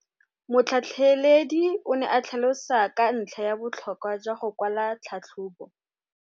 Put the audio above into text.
Motlhatlheledi o ne a tlhalosa ka ntlha ya botlhokwa jwa go kwala tlhatlhôbô.